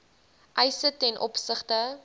eise ten opsigte